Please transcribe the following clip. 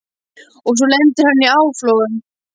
Og svo lendir hann í áflogum.